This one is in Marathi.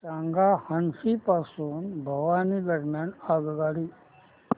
सांगा हान्सी पासून भिवानी दरम्यान आगगाडी